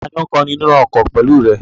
Tani ó ń kọrin nínú ọkọ̀ pẹ̀lú rẹ?